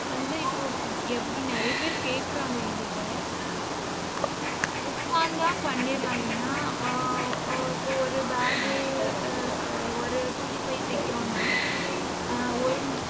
வந்து இப்போ நிறைய பேர் கேக்குறாங்க எங்கிட்ட. உக்காந்தா பண்ணிரலாம் ஏன்னா அஹ் ஆஹ் இப்போ ஒரு bag ஆஹ் ஒரு துணிப்பை தைக்கிறோம்ன்னா ஹம் ஒரு